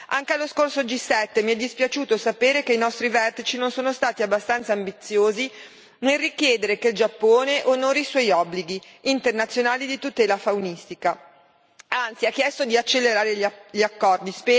Anche allo scorso G7, mi è dispiaciuto sapere che i nostri vertici non sono stati abbastanza ambiziosi nel richiedere che il Giappone onori i suoi obblighi internazionali di tutela faunistica e, anzi, hanno chiesto di accelerare gli accordi.